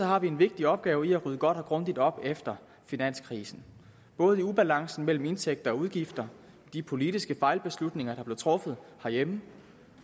har vi en vigtig opgave i at rydde godt og grundigt op efter finanskrisen både i ubalancen mellem indtægter og udgifter de politiske fejlbeslutninger der blev truffet herhjemme